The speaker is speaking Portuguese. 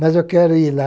Mas eu quero ir lá